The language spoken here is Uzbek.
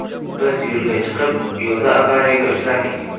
Biz yo‘lga chiqib, yo‘lda avariyaga uchradik”.